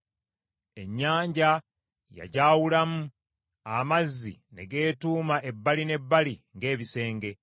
Ennyanja yajaawulamu, amazzi ne geetuuma ebbali n’ebbali ng’ebisenge.